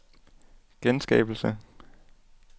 genskabelse